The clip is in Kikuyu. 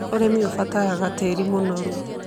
Ũrĩmi ũbataraga tĩĩri mũnoru.